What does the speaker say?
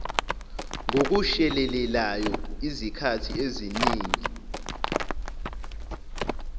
ngokushelelayo izikhathi eziningi